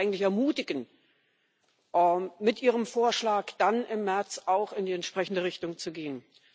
Wir wollen Sie eigentlich ermutigen, mit Ihrem Vorschlag dann im März auch in die entsprechende Richtung zu gehen.